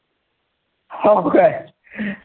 हा आम्हाले आम्ही कधी game खेळलोच नाही, आम्हाले वावरात जातं